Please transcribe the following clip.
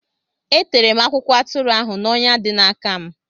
E tere m akwụkwọ atụrụ ahụ n’ọnya dị n’aka m.